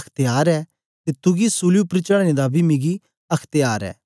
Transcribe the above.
अख्त्यार ऐ ते तुगी सूली उपर चढ़ाने दा बी मिगी अख्त्यार ऐ